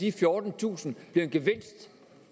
i to tusind